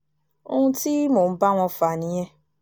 ohun tí mò ń bá wọn fà nìyẹn